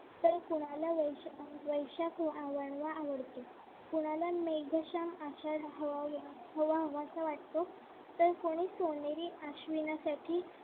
तर कोणाला वैशाख आवडतो कोणाला मेघ श्याम आषाढ हवाहवा हवाहवासा वाटतो. तर कोणी सोनेरी आश्वीनासाठी